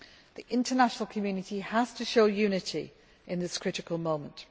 The international community has to show unity in this critical moment.